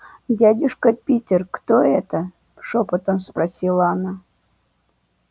дядюшка питер кто это шёпотом спросила она